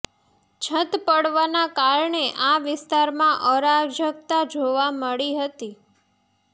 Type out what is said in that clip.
છત પડવાના કારણે આ વિસ્તારમાં અરાજકતા જોવા મળી હતી